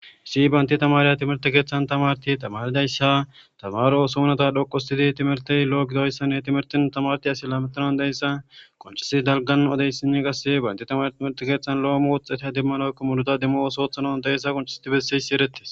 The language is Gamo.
Issi banta tamariya timirte keeththan tamarissini tamarida issa tamaro oso nayita xoqqu ottidi timirtay lo'o giddiyo issan timirtin tamarti asi lametiran diya issa qoncissi dalgan odayisinne qasse banta tamariya timirite keeththan lo'o wuuxxete demmanoykko muruta demmo osoothano dayssa qoncissidi bessiysi eretes.